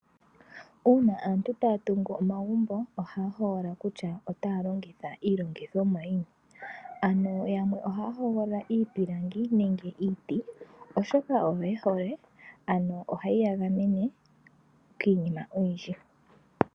Uuna aantu taya tungu omagumbo ohaya hogolola kutya otaya longitha iilongithomwa yini yamwe ohaya hogolola iipilangi nenge iiti oshoka oyo yehole ano ohayi ya gamene kiinima oyindji.